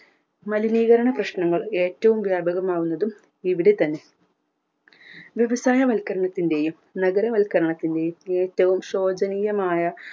മലിനീകരണ പ്രശ്നങ്ങൾ ഏറ്റവും വ്യാപകമാകുന്നതും ഇവിടെ തന്നെ വ്യവസായ വൽക്കരണത്തിന്റെയും നഗര വൽക്കരണത്തിന്റെയും ഏറ്റവും ശോചനീയമായ